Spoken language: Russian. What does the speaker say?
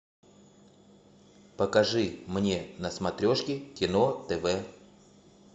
покажи мне на смотрешке кино тв